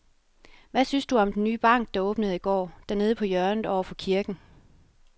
Hvad synes du om den nye bank, der åbnede i går dernede på hjørnet over for kirken?